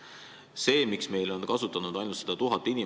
Miks meil on edasilükatud pensioni kasutanud ainult tuhat inimest?